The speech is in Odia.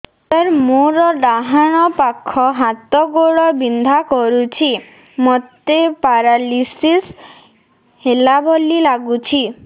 ସାର ମୋର ଡାହାଣ ପାଖ ହାତ ଗୋଡ଼ ବିନ୍ଧା କରୁଛି ମୋତେ ପେରାଲିଶିଶ ହେଲା ଭଳି ଲାଗୁଛି